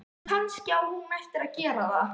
Kannski á hún eftir að gera það.